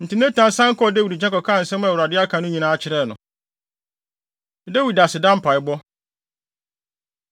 Enti Natan san kɔɔ Dawid nkyɛn kɔkaa nsɛm a Awurade aka no nyinaa kyerɛɛ no. Dawid Aseda Mpaebɔ